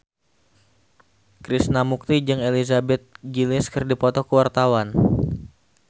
Krishna Mukti jeung Elizabeth Gillies keur dipoto ku wartawan